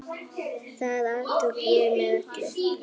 Það aftók ég með öllu.